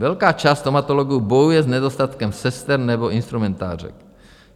Velká část stomatologů bojuje s nedostatkem sester nebo instrumentářek.